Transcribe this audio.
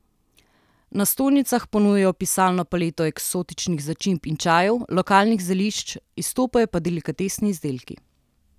Na stojnicah ponujajo pisano paleto eksotičnih začimb in čajev, lokalnih zelišč, izstopajo pa delikatesni izdelki.